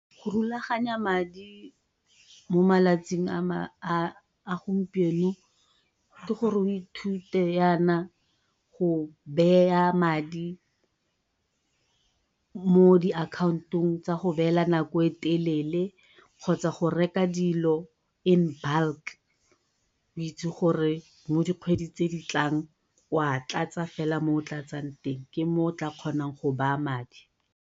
Go rulaganya madi mo malatsing a gompieno ke gore o ithute yana go madi mo diakhantong tsa go beela nako e telele kgotsa go reka dilo in bulk o itse gore mo dikgweding tse ditlang wa tlatsa fela mo o tlatsang teng ke mo o tla kgonang go baya madi.